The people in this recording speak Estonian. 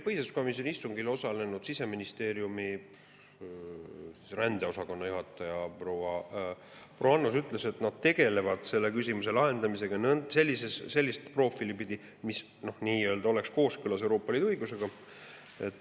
Põhiseaduskomisjoni istungil osalenud Siseministeeriumi rändepoliitika osakonna juhataja proua Annus ütles, et nad tegelevad selle küsimuse lahendamisega sellist profiili pidi, mis oleks kooskõlas Euroopa Liidu õigusega.